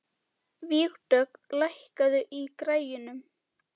Vígdögg, lækkaðu í græjunum.